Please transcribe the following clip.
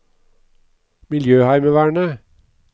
miljøheimevernet